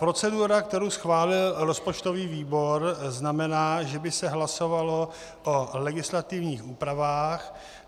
Procedura, kterou schválil rozpočtový výbor, znamená, že by se hlasovalo o legislativních úpravách.